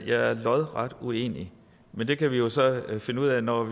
jeg er lodret uenig men det kan vi jo så finde ud af når